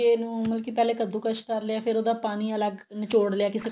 ਘੀਏ ਨੂੰ ਮਤਲਬ ਕੀ ਪਹਿਲੇ ਕੱਦੂਕਸ ਕਰ ਲਿਆ ਫਿਰ ਉਹਦਾ ਪਾਣੀ ਅਲੱਗ ਨਿਚੋੜ ਲਿਆ ਕਿਸੇ